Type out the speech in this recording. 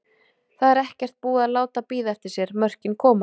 Það er ekkert búið að láta bíða eftir sér, mörkin koma.